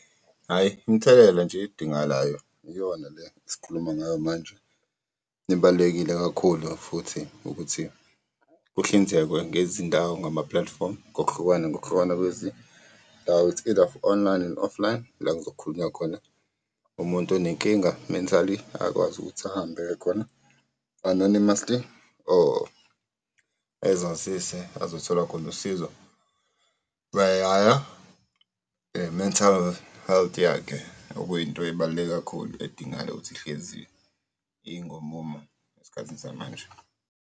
Hhayi, imithelela nje edingakalayo iyona le esikhuluma ngayo manje. Ibalulekile kakhulu futhi ukuthi kuhlinzekwe ngezindawo ngamaplatifomu ngokuhlukana ngokuhlukana , it's either online and offline, la kuzokhulunywa khona umuntu onenkinga mentally akwazi ukuthi ahambe aye khona, anonymously or ezazise azothola khona usizo. i-mental health yakhe okuyinto ebaluleke kakhulu edingayo ukuthi ihlezi ingomumo esikhathini samanje.